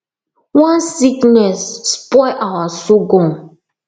one sickness spoil our sorghum